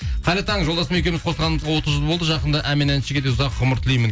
қайырлы таң жолдасым екеуіміз қосылғанымызға отыз жыл болды жақында ән мен әншіге де ұзақ ғұмыр тілеймін